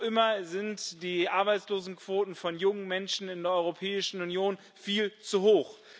Noch immer sind die Arbeitslosenquoten von jungen Menschen in der Europäischen Union viel zu hoch.